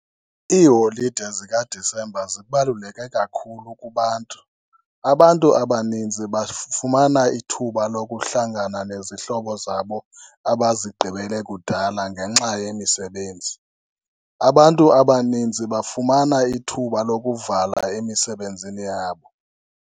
Iiholide zikaDisemba zibaluleke kakhulu kubantu, abantu abaninzi bafumana ithuba lokuhlangana nezihlobo zabo abazigqibele kudala ngenxa yemisebenzi. Abantu abanintsi bafumana ithuba lokuvala emisebenzini yabo.